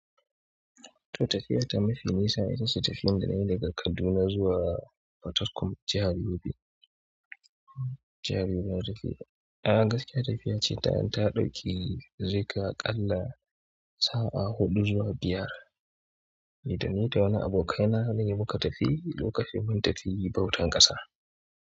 To tafiya ta mafi nisa ita ce tafiyar da na yi daga Kaduna zuwa Fatakum, jihar Yobe. Jihar Yobe da safe. A'a gaskiya tafiya ce ta ɗauki zai kai aƙalla sa'a huɗu zuwa biyar. Ni da ni da wani abokaina ne muka tafi lokacin mun tafi bautan ƙasa.